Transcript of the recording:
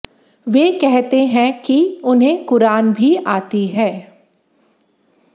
वे कहते हैं कि उन्हें कुरान भी आती है